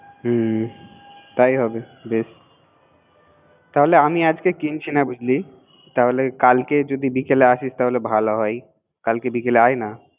হুম তাই হবে বেস তাইলে আমি আজকে কিনছিনা বুজলিতাহলে কালকে বিকালে যদি আসিস কালকে বিকালে আয় না